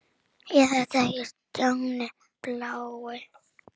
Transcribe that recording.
Er þetta ekki Stjáni blái?!